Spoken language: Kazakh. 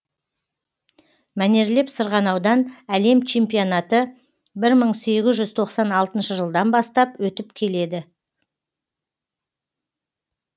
мәнерлеп сырғанаудан әлем чемпионаты бір мың сегіз жүз тоқсан алтыншы жылдан бастап өтіп келеді